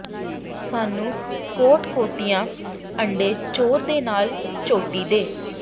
ਸਾਨੂੰ ਕੋਟ ਕੁੱਟਿਆ ਅੰਡੇ ਚੌਰ ਦੇ ਨਾਲ ਚੋਟੀ ਦੇ